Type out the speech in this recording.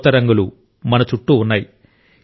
కొత్త రంగులు మన చుట్టూ ఉన్నాయి